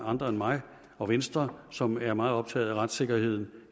andre end mig og venstre som er meget optaget af retssikkerheden